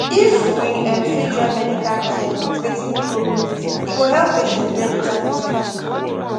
if we um fit join medical care with wetin people believe e go help patients get better result